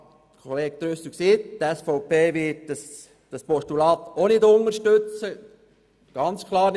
Ich habe dem Kollegen Trüssel gesagt, dass die SVP klar auch nicht das Postulat unterstützen wird.